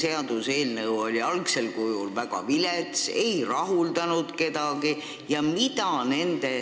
Kas see eelnõu oli algsel kujul väga vilets, ei rahuldanud kedagi?